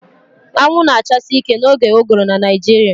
Anwụ na-achasi ike n'oge ụgụrụ na Naịjirịa